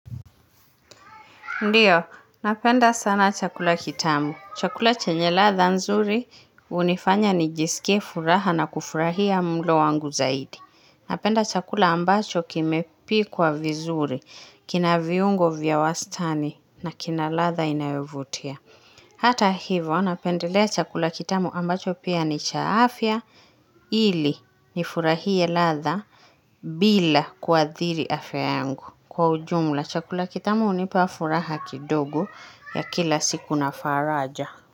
Ndiyo, napenda sana chakula kitamu. Chakula chenye ladha nzuri unifanya nijisike furaha na kufurahia mlo wangu zaidi. Napenda chakula ambacho kimepikwa vizuri, kina viungo vya wastani na kina ladha inawevutia. Hata hivo, napendelea chakula kitamu ambacho pia ni cha afya ili nifurahie ladha bila kwathiri afya yangu. Kwa ujumla, chakula kitamu ni pa furaha kidogu ya kila siku na faraja.